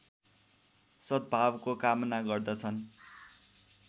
सद्भावको कामना गर्दछन्